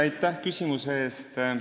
Aitäh küsimuse eest!